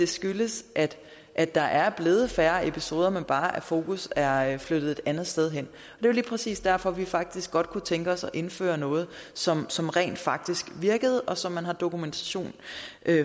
skyldes at der er blevet færre episoder men bare at fokus er flyttet et andet sted hen det jo lige præcis derfor at vi faktisk godt kunne tænke os at indføre noget som som rent faktisk virkede og som man har dokumentation